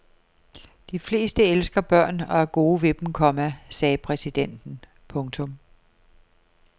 De fleste elsker børn og er gode ved dem, komma sagde præsidenten. punktum